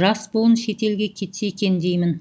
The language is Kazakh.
жас буын шетелге кетсе екен деймін